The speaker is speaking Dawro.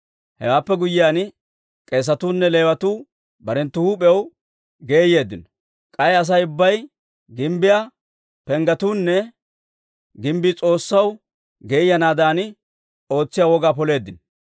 Hewaappe guyyiyaan, k'eesatuu nne Leewatuu barenttu huup'iyaw geeyeeddino; k'ay Asay ubbay, gimbbiyaa penggetuunne gimbbii S'oossaw geeyanaadan ootsiyaa wogaa poleeddino.